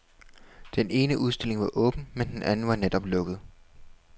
Den ene udstilling var åben, men den anden var netop lukket.